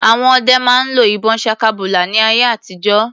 Àwọn ọdẹ máa ń lo ìbọn ṣakabùlà ní ayé àtijó.